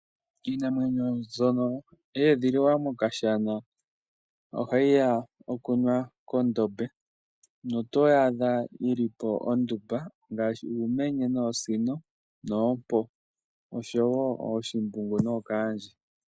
Iinamwenyo mbyono ye edhililwa mokashana ohayi ya okunwa kondombe notoyi adha yili po ondumba ngaashi uumenye, oosino, oompo, ooshimbungu nookandje.